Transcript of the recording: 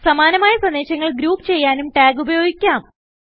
സമാനമായ സന്ദേശങ്ങൾ ഗ്രൂപ്പ് ചെയ്യാനും ടാഗ് ഉപയോഗിക്കാം